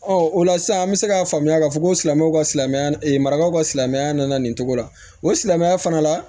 o la sisan an bɛ se k'a faamuya k'a fɔ ko silamɛw ka silamɛya maraw ka silamɛya nana nin cogo la o silamɛya fana la